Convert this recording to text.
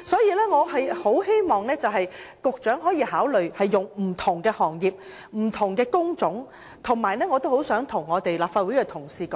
因此，我很希望局長可以考慮不同行業和工種的情況，而我很想向立法會的同事